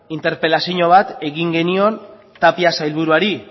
interpelazio bat egin genion tapia sailburuari